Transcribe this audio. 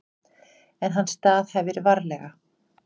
En hann staðhæfir varlega.